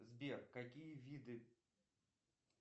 сбер какие виды